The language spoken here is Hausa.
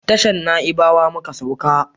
Tashan naibawa muka sauka